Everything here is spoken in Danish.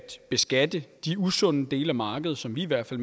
beskatte de usunde dele af markedet som vi i hvert fald